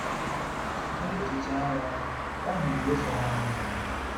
Site n’echiche agha, nke ahụ yiri ụzọ na-adịghị mma.